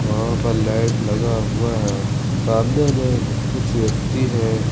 वहां पर लाइट लगा हुआ है सामने में कुछ व्यक्ति हैं।